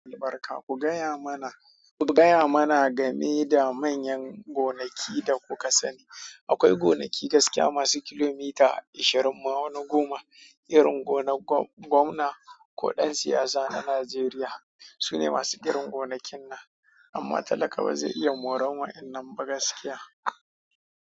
Albarka ku gaya mana, ku gaya mana game da manyan gonaki da kuka sani. Akwai gonaki gaskiya masu kilomita ashirin ma wani goma, irin gonar gwamna ko ɗan siyasa na Najeriya. Su ne masu irin gonakin nan, amma talaka ba zai iya moran wa'inan ba gaskiya.